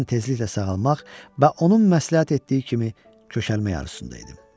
Mən tezliklə sağalmaq və onun məsləhət etdiyi kimi kökəlmək arzusunda idim.